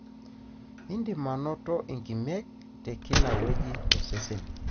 indim anoto inkimek tekila weuji tosesen.